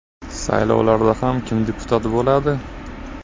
Saylovlarda ham kim deputat bo‘ladi?